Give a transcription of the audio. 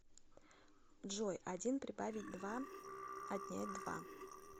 джой один прибавить два отнять два